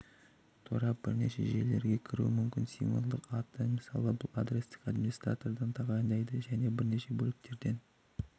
торап бірнеше желілерге кіруі мүмкін символдық аты мысалы бұл адресті администратор тағайындайды және бірнеше бөліктерден